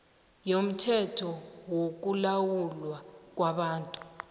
yomthetho wokulawulwa kwabantu